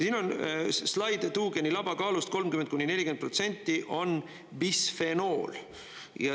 Siin on slaid, et tuugeni laba kaalust 30–40% on bisfenool.